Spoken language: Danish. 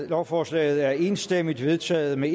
lovforslaget er enstemmigt vedtaget med